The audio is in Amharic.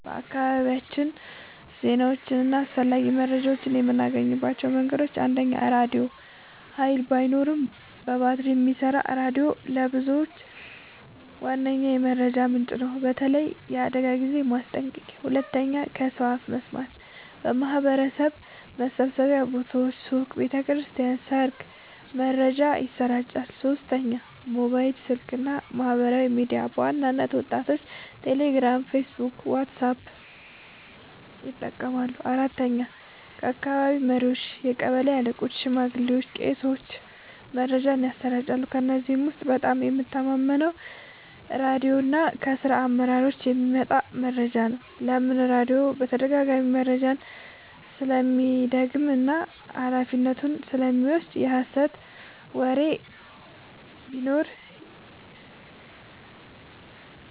በአካባቢያችን ዜናዎችን እና አስፈላጊ መረጃዎችን የምናገኝባቸው መንገዶች፦ 1. ራድዮ – ኃይል ባይኖርም በባትሪ የሚሰራ ሬዲዮ ለብዙዎች ዋነኛ ምንጭ ነው፣ በተለይ ለአደጋ ጊዜ ማስጠንቀቂያ። 2. ከሰው አፍ መስማት – በማህበረሰብ መሰብሰቢያ ቦታዎች (ሱቅ፣ ቤተ ክርስቲያን፣ ሰርግ) መረጃ ይሰራጫል። 3. ሞባይል ስልክ እና ማህበራዊ ሚዲያ – በዋናነት ወጣቶች ቴሌግራም፣ ፌስቡክ ወይም ዋትስአፕ ይጠቀማሉ። 4. ከአካባቢ መሪዎች – ቀበሌ አለቆች፣ ሽማግሌዎች ወይም ቄሶች መረጃን ያሰራጫሉ። ከእነዚህ ውስጥ በጣም የምተማመነው ራድዮ እና ከራስ አመራሮች የሚመጣ መረጃ ነው። ለምን? · ራድዮ በተደጋጋሚ መረጃውን ስለሚደግም እና ኃላፊነቱን ስለሚወስድ። የሀሰት ወሬ ቢኖር